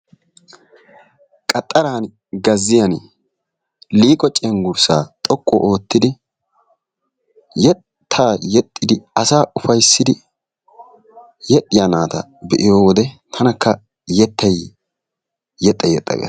Qaxxaraani, gazziyani liiqo cenggurssaa xoqqu oottidi asaa ufayssidi yexxiya naata be'iyo wode tanakka yettay yexxa yexxa gees.